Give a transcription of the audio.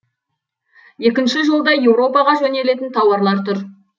екінші жолда еуропаға жөнелтілетін тауарлар тұр